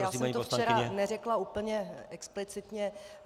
Já jsem to včera neřekla úplně explicitně.